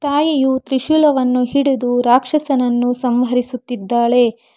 ತಾಯಿಯು ತ್ರಿಶೂಲವನ್ನು ಹಿಡಿದು ರಾಕ್ಷಸನನ್ನು ಸಂಹರಿಸುತ್ತಿದ್ದಾಳೆ.